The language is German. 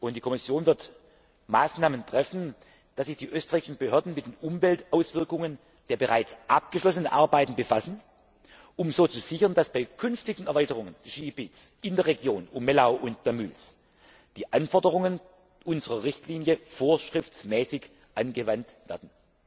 Die Kommission wird Maßnahmen treffen, damit sich die österreichischen Behörden mit den Umweltauswirkungen der bereits abgeschlossenen Arbeiten befassen, um so zu sichern, dass bei künftigen Erweiterungen des Skigebiets in der Region um Mellau Damüls die Anforderungen unserer Richtlinie vorschriftsmäßig angewandt werden.